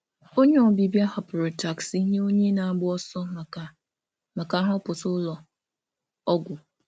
Onye ọbịbịa hapụrụ taksị ọbịbịa hapụrụ taksị nye onye na-agba ọsọ maka nhọpụta ụlọ ọgwụ.